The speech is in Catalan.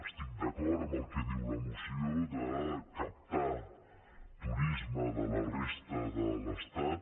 estic d’acord amb el que diu la moció de captar turisme de la resta de l’estat